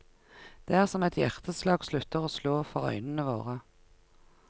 Det er som et hjerteslag slutter å slå for øyene våre.